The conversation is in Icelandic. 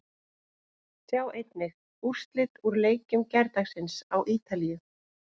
Sjá einnig: Úrslit úr leikjum gærdagsins á Ítalíu